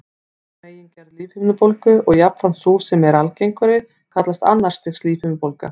Hin megingerð lífhimnubólgu, og jafnframt sú sem er algengari, kallast annars stigs lífhimnubólga.